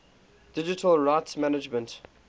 digital rights management